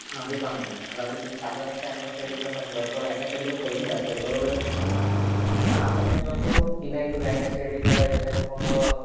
हे पहा ना. आता तुम्ही साधारणतः M S C I T म्हंटल तर M S C I T चेपैशे जास्त आहेत. बरोबर आहे. पण आता म्हणतो कि नाही तुला M S C I T करायचं तर मग